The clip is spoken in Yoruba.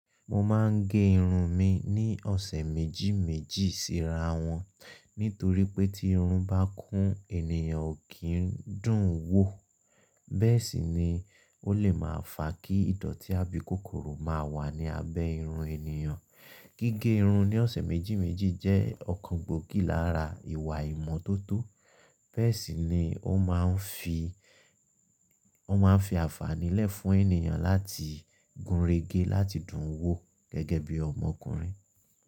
Mo máa ń gé irun mi ní ọ̀sẹ̀ méjì méjì sí ra wọn. Nítorí pé tí irun bá kún ènìyàn kì í dùn ún wò, bẹ́ẹ̀ sì ni ó lè máa fa kí ìdọ̀tí àbí kòkòrò máa wà ní abẹ́ irun ènìyàn. Gígé irun ní ọ̀sẹ̀ méjì méjì jẹ́ ọ̀kan gbòógì lára ìwà ìmọ́tótó. Bẹ́ẹ̀ sì ni ó máa ń fi, ó máa ń fi àfààní lẹ̀ fún ènìyàn láti gúnregé láti dùn ún wò gẹ́gẹ́ bí ọmọkùnrin.